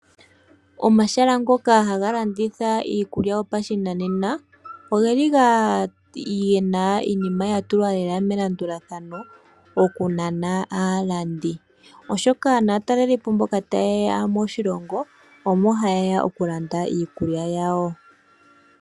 Omahala ngoka haga landitha iikulya yopashinanena ogeli gena iinima yili lela melandulathano oku nana aalandi oshoka naatalelipo mboka taye ya moshilongo omo haye ya oku landa iikulya yawo.